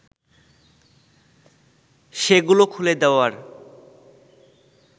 সেগুলো খুলে দেওয়ার